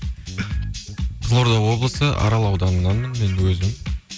қызылорда облысы арал ауданынанмын енді өзім